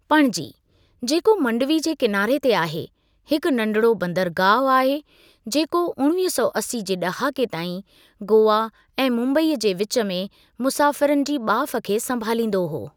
पणजी, जेको मंडवी जे किनारे ते आहे, हिक नंढिड़ो बंदरगाहु आहे, जेको उणिवीह सौ असी जे ॾहाके ताईं गोवा ऐं मुम्बईअ जे विच में मुसाफ़िरनि जी ॿाफ खे संभालींदो हो।